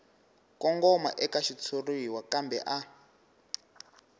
kongoma eka xitshuriwa kambe a